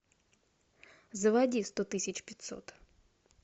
заводи сто тысяч пятьсот